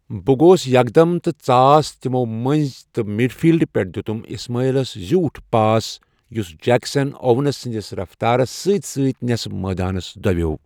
بہٕ گوس یكھ دم تہٕ ژاس تمو مٔنٛزۍ تہٕ مِڈ فیلڈ پیٹھٕ دیُتم اسماعیلس زیوٗٹھ پاس، یس جیكسن اوونس سٕنٛدس رفتارس سۭتۍ سۭتۍ نیصفس مٲدانس دویوو۔